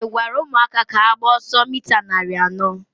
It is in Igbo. ị gwara ụmụaka ka ha gbaa ọsọ mita narị anọ?